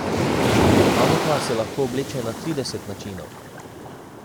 Anka se lahko obleče na trideset načinov.